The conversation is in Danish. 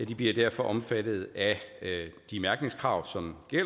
bliver derfor omfattet af de mærkningskrav som er